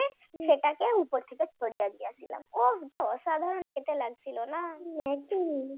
সেটাকে উপর থেকে ছড়িয়ে দিয়েছিলাম ও আহ অসাধারণ খেতে লাগছিল না!